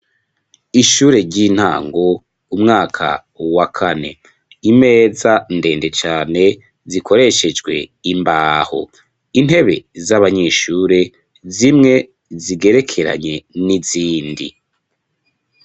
Ishure ry'intango umwaka wa kane. Imeza ndende cane , zikoreshejwe imbaho. Intebe z'abanyeshure zimwe zigerekeranye n'izindi .